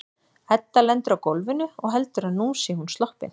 Edda lendir á gólfinu og heldur að nú sé hún sloppin.